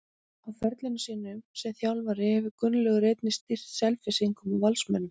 Á ferli sínum sem þjálfari hefur Gunnlaugur einnig stýrt Selfyssingum og Valsmönnum.